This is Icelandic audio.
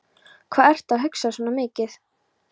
Hvað ertu að hugsa svona mikið?